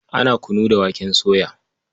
Ana kunu da waken soya.